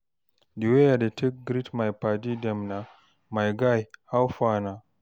di way I dey take greet my padi dem na "my guy, how far na?"